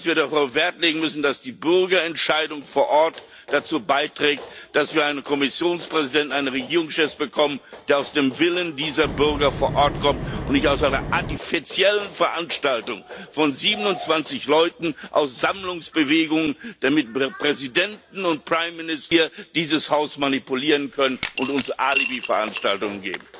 Und dass wir darauf Wert legen müssen, dass die Bürgerentscheidung vor Ort dazu beiträgt, dass wir einen Kommissionspräsidenten, einen Regierungschef bekommen, der aus dem Willen dieser Bürger vor Ort kommt und nicht aus einer artifiziellen Veranstaltung von 27 Leuten aus Sammlungsbewegungen, damit Präsidenten und hier dieses Haus manipulieren können und uns Alibiveranstaltungen geben.